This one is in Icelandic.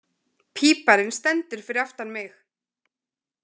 Píparinn stendur fyrir aftan mig.